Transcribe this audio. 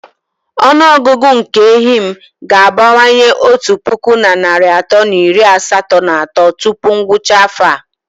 Ọnụ ọgụgụ nke ehi m ga-abawanye otu puku na narị atọ na iri asatọ na atọ tupu ngwụcha afọ a.